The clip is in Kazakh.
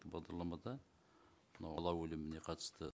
бағдарламада мынау бала өліміне қатысты